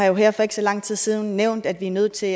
har her for ikke så lang tid siden nævnt at vi er nødt til